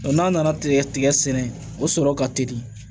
n'a nana tigɛ tigɛ sɛnɛ o sɔrɔ ka teli